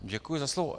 Děkuji za slovo.